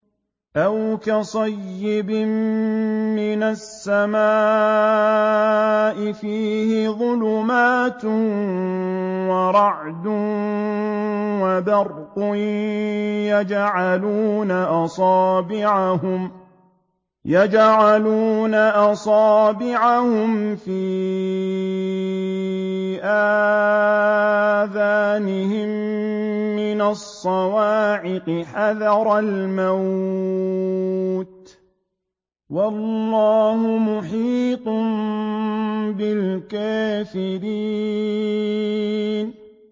أَوْ كَصَيِّبٍ مِّنَ السَّمَاءِ فِيهِ ظُلُمَاتٌ وَرَعْدٌ وَبَرْقٌ يَجْعَلُونَ أَصَابِعَهُمْ فِي آذَانِهِم مِّنَ الصَّوَاعِقِ حَذَرَ الْمَوْتِ ۚ وَاللَّهُ مُحِيطٌ بِالْكَافِرِينَ